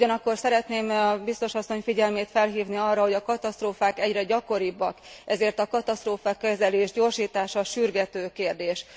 Ugyanakkor szeretném Biztos asszony figyelmét felhívni arra, hogy a katasztrófák egyre gyakoribbak, ezért a katasztrófakezelés gyorsítása sürgető kérdés.